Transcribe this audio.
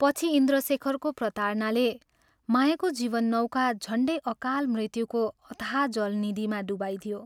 पछि इन्द्रशेखरको प्रतारणाले मायाको जीवननौका झण्डै अकाल मृत्युको अथाह जलनिधिमा डुबाइदियो।